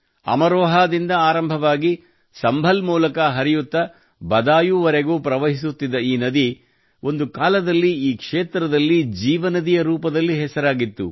ಅಮರೋಹಾದಿಂದ ಆರಂಭವಾಗಿ ಸಂಭಲ್ ಮೂಲಕ ಹರಿಯುತ್ತಾ ಬದಾಯುವರೆಗೂ ಪ್ರವಹಿಸುತ್ತಿದ್ದ ಈ ನದಿ ಒಂದು ಕಾಲದಲ್ಲಿ ಈ ಕ್ಷೇತ್ರದಲ್ಲಿ ಜೀವನದಿಯ ರೂಪದಲ್ಲಿ ಹೆಸರಾಗಿತ್ತು